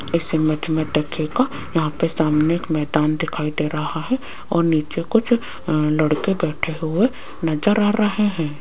इस इमेज में देखिएगा यहां पे सामने एक मैदान दिखाई दे रहा है और नीचे कुछ अ लड़के बैठे हुए नजर आ रहे हैं।